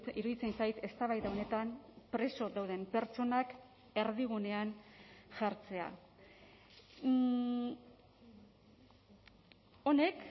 iruditzen zait eztabaida honetan preso dauden pertsonak erdigunean jartzea honek